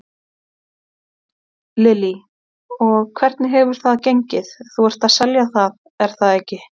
Lillý: Og hvernig hefur það gengið, þú ert að selja það er það ekki?